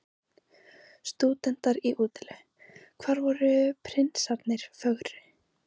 Stúdentar í útilegu: hvar voru prinsarnir fögru?